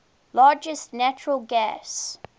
largest natural gas